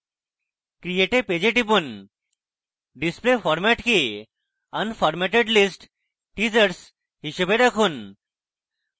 create a page a টিপুন display format কে unformatted list teasers হিসাবে রাখুন